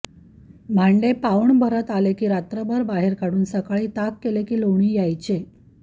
भांडे पाऊण भरत आले की रात्रभर बाहेर काढून सकाळी ताक केले की लोणी यायचे